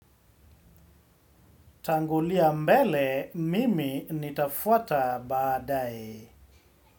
Tangulia mbele, mimi nitafuata baadae.